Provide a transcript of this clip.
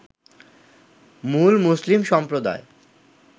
মূল মুসলিম সম্প্রদায়